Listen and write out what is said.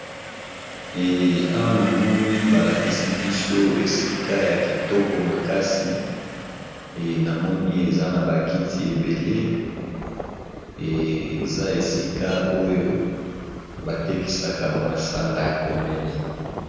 Awa namoni balakisi biso esika ya kitoko makasi namoni eza na bakiti ebele eza esika oyo batekisaka bamasanga ya komela.